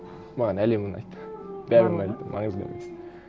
маған әлем ұнайды барлығы ма